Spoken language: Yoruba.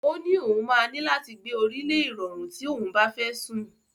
Ó́ ní òun máa ní láti gbé orí lé ìrọ̀rí tí òun bá fẹ́ sùn.